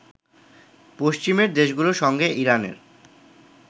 পশ্চিমের দেশগুলোর সঙ্গে ইরানের